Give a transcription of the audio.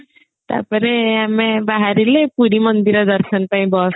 ତାପରେ ଆମେ ବାହାରିଲେ ପୁରୀ ମନ୍ଦିର ଦର୍ଶନ ପାଇଁ bus